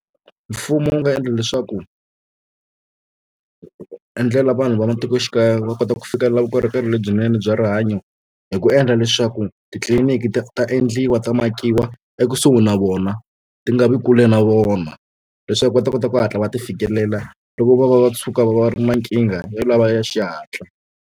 Mfumo wu nga endla leswaku endlela vanhu va matikoxikaya va kota ku fika la vukorhokeri lebyinene bya rihanyo hi ku endla leswaku titliliniki ta ta endliwa ta makiwa ekusuhi na vona ti nga vi kule na vona leswaku va ta kota ku hatla va ti fikelela loko vo va va va tshuka va va ri na nkingha ya lava ya xihatla.